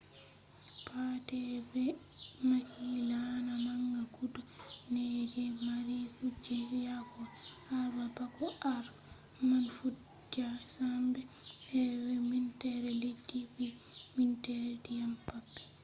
pat be ɓe mahi laana manga guda nai je mari kujeji yahogo habre bako habre man fuɗɗa sembe he’ai minteere leddi be minteere ndiyam maɓɓe